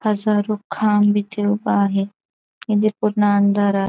हा शाहरुख खान इथे उभा आहे इथे पूर्ण अंधारात --